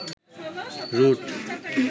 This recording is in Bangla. রুট